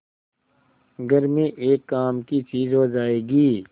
घर में एक काम की चीज हो जाएगी